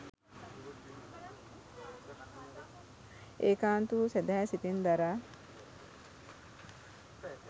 ඒකාන්ත වූ සැදැහැ සිතින් දරා